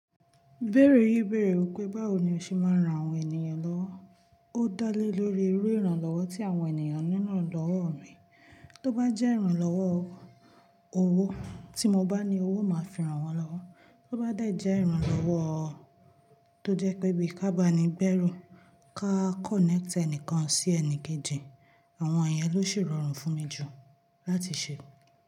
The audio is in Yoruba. Ibeẹ̀rẹ̀ yii beere wipé báwo ni o ṣe máa ń ran àwọn ènìyàn lọ́wọ́. Ó dá lé lórí irú ìrànlọ́wọ́ tí àwọn ènìyàn nílo lọ́wọ́ mi. Tó bá jẹ́ ìrànlọ́wọ́ owó tí mo bá ní owó máa fi ran wọ́n lọ́wọ́. Tó bá dẹ̀ jẹ́ ìrànlọ́wọ́ tó jẹ́ pé bí i ká bá ní gbẹ́rù ká connect ẹnìkan sí ẹnìkejì, àwọn ènìyàn ló sì rọrùn fún mi jù láti ṣe.